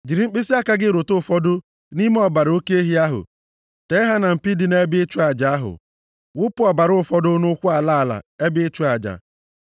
Jiri mkpịsịaka gị rụta ụfọdụ nʼime ọbara oke ehi ahụ tee ya na mpi dị nʼebe ịchụ aja ahụ. Wụpụ ọbara fọdụrụ nʼụkwụ ala ala ebe ịchụ aja.